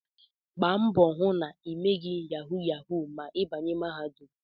Gba mbọ hụ na ịmeghị yahu yahu ma ị banye na mahadum!